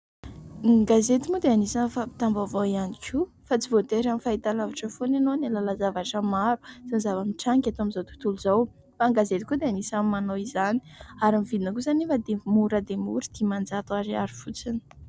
Ny gazety moa dia isany fampitam-baovao ihany koa fa tsy voatery amin'ny fahitalavitra foana ianao ny hahalala zavatra maro sy ny zava-mitranga eto amin'izao tontolo izao, fa ny gazety koa dia isany manao izany ary ny vidiny kosa anefa dia mora dia mora dimanjato ariary fotsiny.